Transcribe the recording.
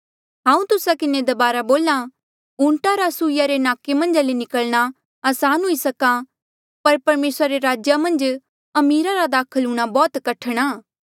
हांऊँ तुस्सा किन्हें दबारा बोल्हा ऊंटा रा सुई रे नाके मन्झा ले निकल्ना असान हुई सक्हा पर परमेसरा रे राजा मन्झ अमीरा रा दाखल हूंणां बौह्त कठण आ